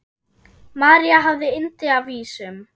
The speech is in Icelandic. María hafði yndi af vísum.